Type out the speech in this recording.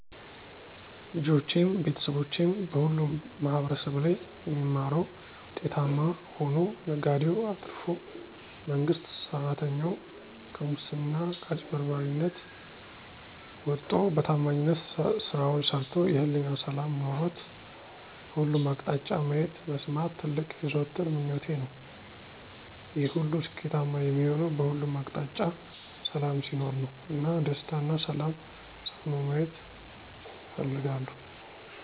ልጆቼም፣ ቤተሰቦቼም በሁሉም ማህበረሰብ ላይ የሚማረዉ ዉጤታማ ሆኖ፣ ነጋዴዉ አትርፎ፣ መንግስት ሰራተኛዉ <ከሙስና ከአጭበርባሪነት>ወጥቶ በታማኝነት ስራዉን ሰርቶ የህሊና ሰላም ኖሮት በሁሉም አቅጣጫ ማየት (መስማት) ትልቅ የዘወትር ምኞቴ ነዉ። ይሄ ሁሉ ስኬታማ የሚሆነዉ በሁሉም አቅጣጫ ሰላም ሲኖር ነዉ እና "ደስታ እና ሰላም" ሰፍኖ መየት እፈልጋለሁ።